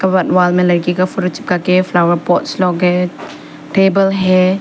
Wall wall में लड़की का फोटो चिपका के फ्लावर पॉट्स लोग हैं टेबल है।